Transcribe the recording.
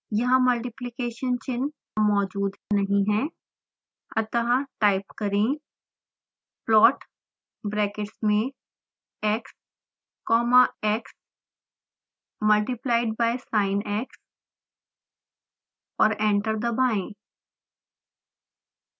यहाँ मल्टिफिकेशन चिन्ह मौजूद नहीं है अतः अब टाइप करें